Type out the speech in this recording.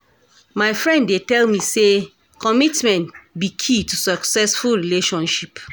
My friend dey tell me say commitment be key to successful relationship.